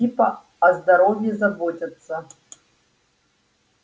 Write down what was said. типа о здоровье заботятся